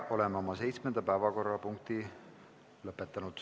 Oleme seitsmenda päevakorrapunkti käsitlemise lõpetanud.